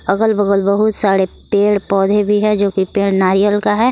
अगल बगल बहुत सारे पेड़ पौधे भी है जो कि पेड़ नारियल का है।